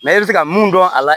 i bɛ fɛ ka mun dɔn a la